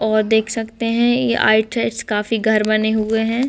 और देख सकते हैं ये आउटसाइड काफी घर बने हुए हैं।